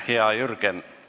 Hea Jürgen!